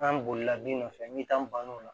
An bolila bin nɔfɛ n'i taa n bann'o la